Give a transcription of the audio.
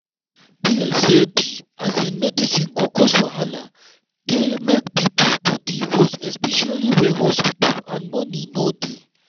fear say di medicine go cause wahala dey make people body worse especially where hospital and money no dey.